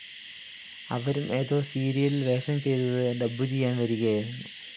അവരും ഏതോ സീരിയലിൽ വേഷം ചെയ്തത് ഡബ്ബുചെയ്യാൻ വരികയായിരുന്നു